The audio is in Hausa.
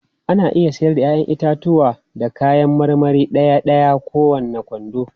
Ana iya siyar da 'ya'yan itatuwa da kayan marmari ɗaya-ɗaya ko kowane kwando.